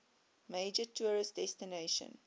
major tourist destination